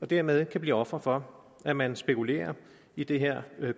dermed blive ofre for at man spekulerer i det her